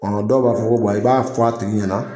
dɔw b'a fɔ i b'a wa i b'a fɔ a tigi ɲɛna